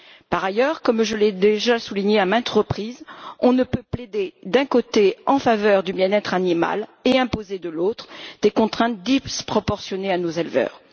Par ailleurs, comme je l'ai déjà souligné à maintes reprises, on ne peut plaider, d'un côté, en faveur du bien être animal et imposer, de l'autre, des contraintes disproportionnées à nos éleveurs.